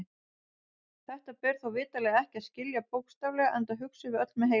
Þetta ber þó vitanlega ekki að skilja bókstaflega enda hugsum við öll með heilanum.